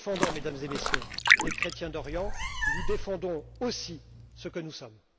Mesdames et Messieurs, en défendant les chrétiens d'Orient, nous défendons aussi ce que nous sommes.